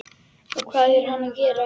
Og hvað er hann að gera hér?